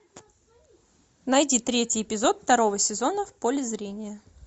найди третий эпизод второго сезона в поле зрения